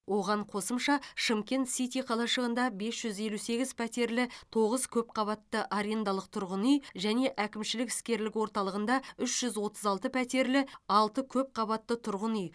оған қосымша шымкент сити қалашығында бес жүз елу сегіз пәтерлі тоғыз көпқабатты арендалық тұрғын үй және әкімшілік іскерлік орталығында үш жүз отыз алты пәтерлі алты көпқабатты тұрғын үй